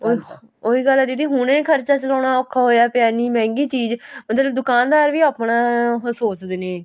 ਉਹ ਉਹੀ ਗੱਲ ਏ ਜਿਹੜੀ ਹੁਣੇ ਖਰਚਾ ਚਲਾਨਾ ਔਖਾ ਹੋਇਆ ਪਿਆ ਇੰਨੀ ਮਹਿੰਗੀ ਚੀਜ਼ ਜਿਹੜਾ ਦੁਕਾਨ ਦਰ ਵੀ ਆਪਣਾ ਉਹ ਸੋਚਦੇ ਨੇ